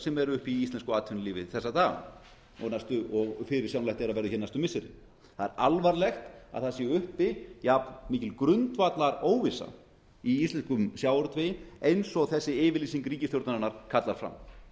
sem eru uppi í íslensku atvinnulífi þessa dagana og fyrirsjáanlegt er að verði hér næstu missirin það er alvarlegt að það sé uppi jafn mikil grundvallar óvissa í íslenskum sjávarútvegi eins og þessi yfirlýsing ríkisstjórnarinnar kallar fram